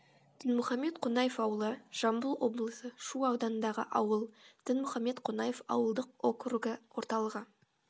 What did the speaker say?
дінмұхамед қонаев ауылы жамбыл облысы шу ауданындағы ауыл дінмұхамед қонаев ауылдық округі орталығы